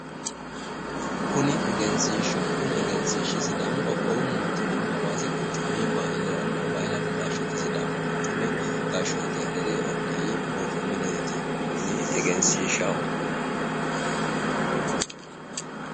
Kuni egenshishshaho kuni egenshiishshi sidaamu qoqqowu mootima hawaasi quchumi wogate hari sidaamu quchumi gashooti hariri olii borro mineeti kunni egenshishshaho.